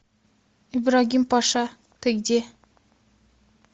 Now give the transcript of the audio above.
ибрагим паша ты где